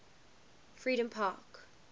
freedompark